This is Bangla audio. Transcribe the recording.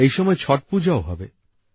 এই সময়ে ছট পূজাও হবে